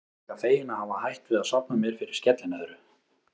Ég er líka feginn að hafa hætt við að safna mér fyrir skellinöðru.